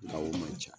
Gawo man ca